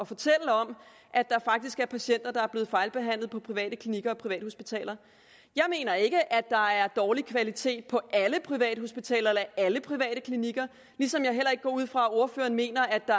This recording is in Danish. fortælle om at der faktisk er patienter der er blevet fejlbehandlet på private klinikker og privathospitaler jeg mener ikke at der er dårlig kvalitet på alle privathospitaler eller alle private klinikker ligesom jeg heller ikke går ud fra at ordføreren mener at der